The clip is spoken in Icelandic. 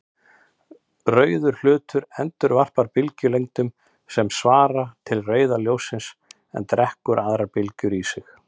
Rauður hlutur endurvarpar bylgjulengdum sem svara til rauða ljóssins en drekkur aðrar bylgjulengdir í sig.